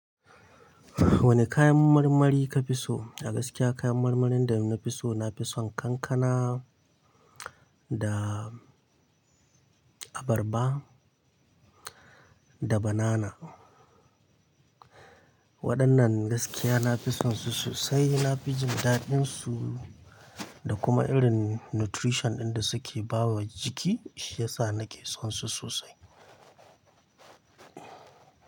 Wane kayan marmari ka fi so? A gaskiya kayan marmarin da na fi so, na fi son kankana da abarba da banana. Waɗannan gaskiya na fi son su sosai. Na fi jin daɗinsu da kuma irin nutrition ɗin da suke ba wa jiki shi yasa na ke son su sosai.